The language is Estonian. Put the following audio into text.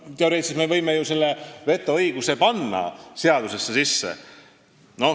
Teoreetiliselt me võime ju selle vetoõiguse panna seadusesse sisse.